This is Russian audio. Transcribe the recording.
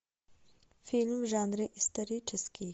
фильм в жанре исторический